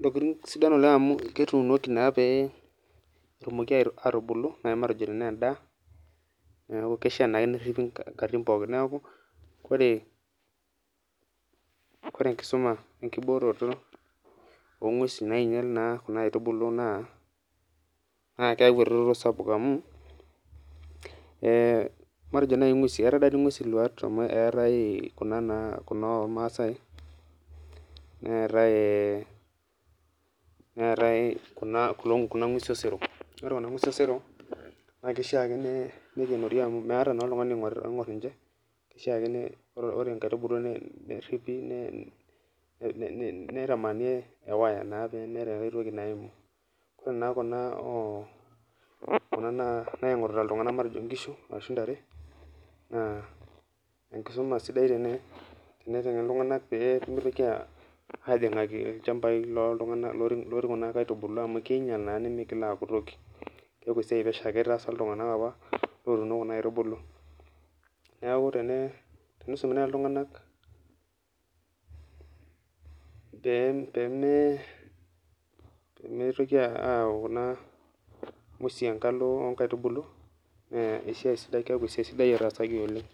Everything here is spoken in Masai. ntokitin sidan oleng amu ketuunoki petumoki atubulu amu endaa neaku kishaa peripi nkatitin pokki neaku ore enkisuma enkibooroto ongwesi nainya kuna aitubulu matejo nai ngwesi kuna ormaasai neetae kunangwesiosero na kishaa nikenori amu meeta oltungani oingorita ninche kishaa ore nkaitubulu neripi neitamani pemeeta entoki naimu kuna naingurita ltunganak matejo nkishu ashu ntare pemitoki ajingaki lchambai loti kuna aitubulu natuuno neaku tenisumi nai ltunganak tenepiki kuna ngwesi atua nkaitubulu nakeaku etaasaki oleng